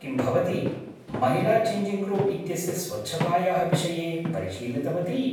किं भवती महिलाचेञ्जिङ्ग् रूम् इत्यस्य स्वच्छातायाः विषये परिशीलितवती?